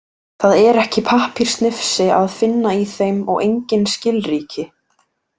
Það er ekki pappírssnifsi að finna í þeim og engin skilríki.